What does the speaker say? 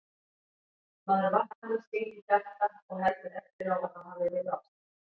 Maður vaknar með sting í hjarta og heldur eftir á að það hafi verið ástin